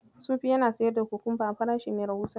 Sufi yana siyar da kokomba a farashi mai rahusa.